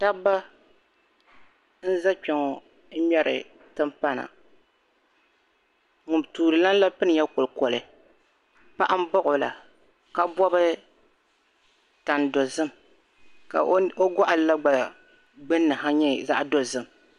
Dabiba n za kpe ŋmeri timpana, Tuuli lani la pinila kolikoli ka paɣa za o sani ka bɔbi tan' dozim, ka o gɔɣili gbunni nyɛ zaɣ' dozim.